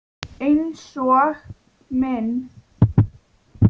Einsog minn.